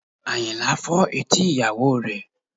Àyìnlá fọ́ etí ìyàwó rẹ̀